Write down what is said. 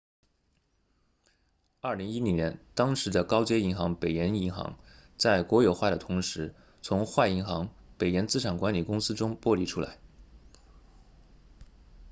2010年当时的高街银行北岩银行 northern rock plc 在国有化的同时从坏银行北岩资产管理公司 northern rock asset management 中剥离出来